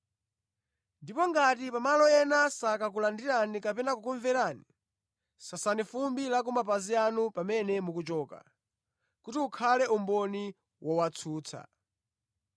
Ndipo ngati pa malo ena sakakulandirani kapena kukumverani, sasani fumbi la kumapazi anu pamene mukuchoka, kuti ukhale umboni wowatsutsa.”